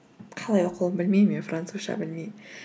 қалай оқылуын білмеймін мен французша білмеймін